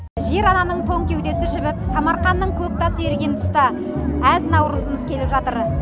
жер ананың тоң кеудесі жібіп самарқанның көк тасы еріген тұста әз наурызымыз келіп жатыр